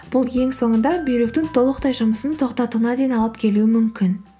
бұл ең соңында бүйректің толықтай жұмысын тоқтатуына дейін алып келуі мүмкін